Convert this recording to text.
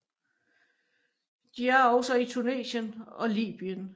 De er også i Tunesien og Libyen